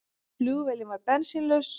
Flugvélin varð bensínlaus